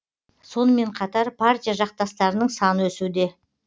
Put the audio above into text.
сонымен қатар партия жақтастарының саны өсуде